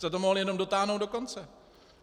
Jste to mohli jenom dotáhnout do konce.